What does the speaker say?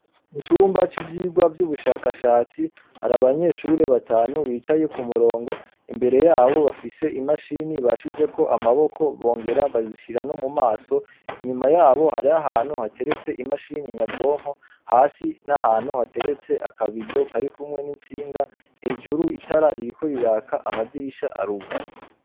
Mu cumba c'ivyigwa vy'ubushakashatsi hari abanyeshure batanu bicaye ku murongo imbere yabo bafise imashini bashize ko amaboko bongera bazishira no mu maso inyuma yabo hari ahantu hateretse imashini nyabwonko hasi n'ahantu hateretse akabido kari kumwe n'intsinga hejuru itara ririkoriraka amadirisha arugaye.